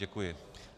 Děkuji.